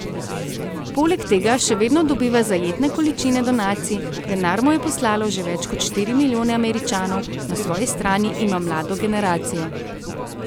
Poleg tega še vedno dobiva zajetne količine donacij, denar mu je poslalo že več kot štiri milijone Američanov, na svoji strani ima mlado generacijo.